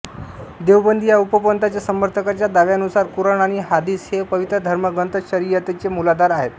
देवबंदी या उपपंथांच्या समर्थकांच्या दाव्यानुसार कुराण आणि हादीस हे पवित्र धर्मग्रंथच शरियतचे मूलाधार आहेत